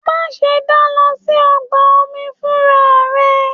Má ṣe da lọ sí ọgbà omi fúnra rẹ!